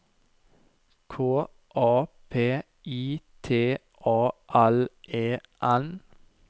K A P I T A L E N